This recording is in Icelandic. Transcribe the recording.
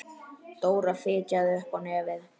Dóra fitjaði upp á nefið.